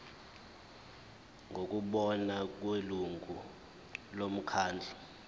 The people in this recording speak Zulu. ngokubona kwelungu lomkhandlu